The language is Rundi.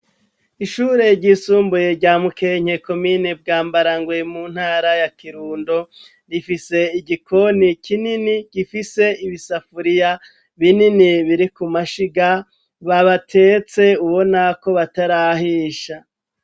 ishure ry'isumbuye rya mukenke komine bwambarangwe muntara ya kirundo rifise igikoni kinini gifise ibisafuriya binini biriku mashiga babatetse ubonako batarahisha